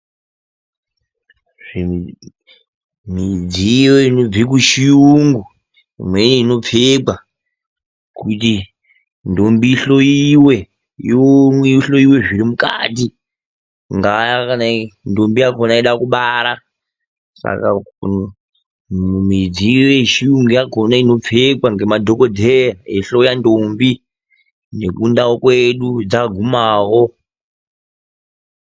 Midziyo inobva kuchiyungu imweni inopfekwa kuti ndombi ihloiwe iomekwe ichihloiwe zviri mukati kungava kuti ndombi yakona inoda kubara. Saka midziyo yechirungu inopfekwa nemadhokoteya eihloya ndombi nekundau kwedu dzagumawo.